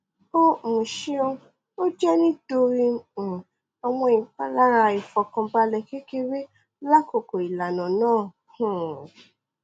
o um ṣeun o jẹ nitori um awọn ipalara aifọkanbalẹ kekere lakoko ilana naa um